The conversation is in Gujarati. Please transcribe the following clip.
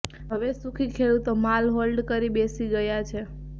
હવે સુખી ખેડૂતો માલ હોલ્ડ કરી બેસી ગયા છે